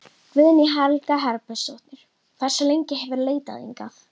Guðný Helga Herbertsdóttir: Hversu lengi hefurðu leitað hingað?